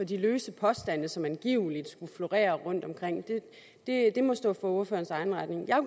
de løse påstande som angiveligt skulle florere rundtomkring det må stå for ordførerens egen regning jeg